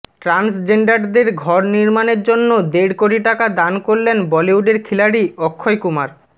ট্রান্সজেন্ডারদের ঘর নির্মাণের জন্য দেড় কোটি টাকা দান করলেন বলিউডের খিলাড়ি অক্ষয় কুমার